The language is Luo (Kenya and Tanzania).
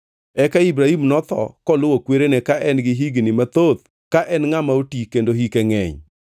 Eka Ibrahim notho koluwo kwerene ka en gi higni mathoth ka en ngʼama oti kendo hike ngʼeny.